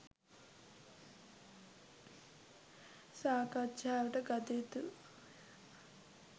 සාකච්ඡාවට ගත යුතුය